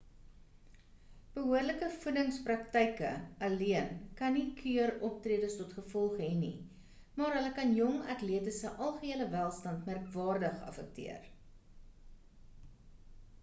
behoorlike voedingspraktyke alleen kan nie keur optredes tot gevolg hê nie maar hulle kan jong atlete se algehele welstand merkwaardig affekteer